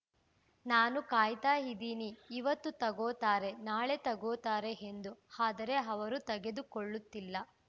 ನಾನು ಕಾಯ್ತಾ ಇದ್ದೀನಿ ಇವತ್ತು ತಗೋತಾರೆ ನಾಳೆ ತಗೋತಾರೆ ಎಂದು ಆದರೆ ಅವರು ತೆಗೆದುಕೊಳ್ಳುತ್ತಿಲ್ಲ